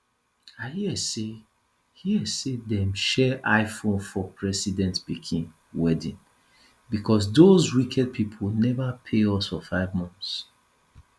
i hear say hear say dem share iphone for president pikin wedding but doz wicked people never pay us for five months